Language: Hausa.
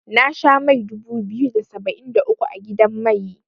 Na sha mai dubu biyu da saba'in da uku a gidan mai.